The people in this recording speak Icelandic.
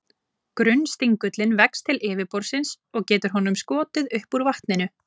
Grunnstingullinn vex til yfirborðsins, og getur honum skotið upp úr vatninu.